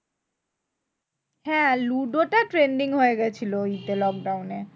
হ্যাঁ লুডোটা trending হয়েগেছিলো ওই যে lockdown এ।